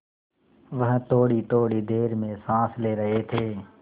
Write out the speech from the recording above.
वह थोड़ीथोड़ी देर में साँस ले रहे थे